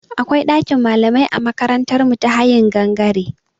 Akwai ɗakin malamai a makarantar mu ta hayin gangare.